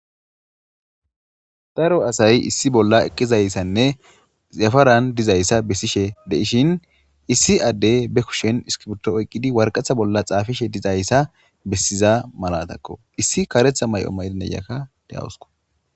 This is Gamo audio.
Daro asay issi bolla eqqiza issanne yafaran diza issa bessishe de'ishin ;issi adde ba kushen iskibirto oyqqidi worqatha bolla xaafishe diza issa bessiza malatakko issi karetha mayo mayida nayakka de'awusko.